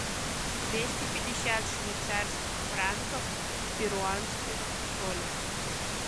двести пятьдесят швейцарских франков в перуанских солях